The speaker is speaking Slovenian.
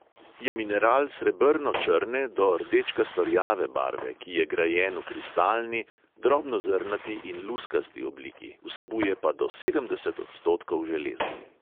Je mineral srebrno črne do rdečkasto rjave barve, ki je grajen v kristalni, drobnozrnati in luskasti obliki, vsebuje pa do sedemdeset odstotkov železa.